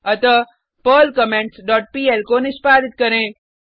अतः Perl comments dot pl को निष्पादित करें